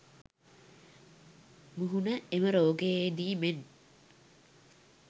මුහුණ එම රෝගයේදී මෙන්